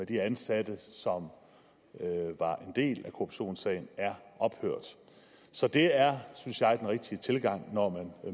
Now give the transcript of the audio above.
de ansatte som var en del af korruptionssagen er ophørt så det synes jeg er den rigtige tilgang når man